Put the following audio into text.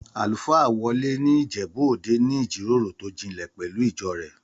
Àlùfáà Wọlé ní Ìjẹ̀bú-Òde ní ìjíròrò tó jinlẹ̀ pẹ̀lú ìjọ rẹ̀